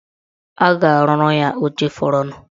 A ga-arụrụ ya oche fọrọnụ.